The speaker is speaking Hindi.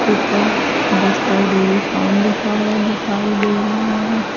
ऊपर बस्टर्ड डेरी फार्म लिखा हुआ दिखाई दे रहा है।